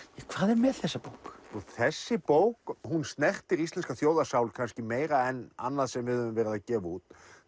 hvað er með þessa bók þessi bók hún snertir íslenska þjóðarsál kannski meira en annað sem við höfum verið að gefa út